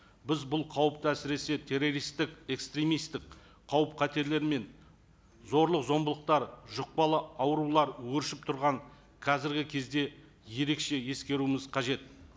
біз бұл қауіпті әсіресе террористтік экстремисттік қауіп қатерлер мен зорлық зомбылықтар жұқпалы аурулар өршіп тұрған қазіргі кезде ерекше ескеруіміз қажет